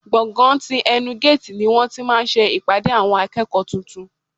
Gbọ̀ngán ti ẹnu géètì ni wọ́n ti máa ṣe ìpàdé àwọn akẹ́kọ̀ọ́ tuntun.